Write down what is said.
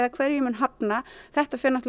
hverju ég mun hafna þetta fer